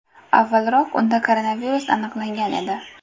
Avvalroq unda koronavirus aniqlangan edi.